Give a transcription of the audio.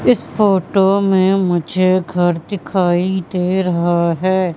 इस फोटो में मुझे घर दिखाई दे रहा है।